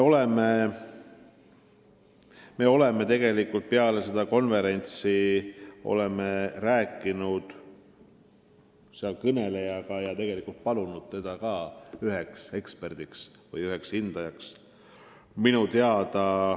Me oleme peale seda konverentsi rääkinud seal kõnelenutega ja palunud ka sellel inimesel olla üks ekspert või üks hindaja.